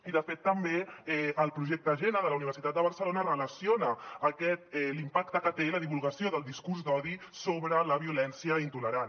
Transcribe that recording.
i de fet també el projecte xènia de la universitat de barcelona relaciona l’impacte que té la divulgació del discurs d’odi sobre la violència intolerant